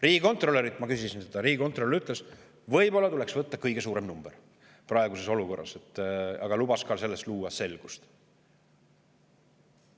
Riigikontrolörilt ma küsisin seda ka, riigikontrolör ütles, et võib-olla tuleks võtta praeguses olukorras kõige suurem number, aga lubas ka luua selles selguse.